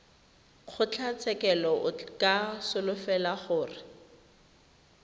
kgotlatshekelo o ka solofela gore